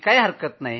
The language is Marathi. काही हरकत नाही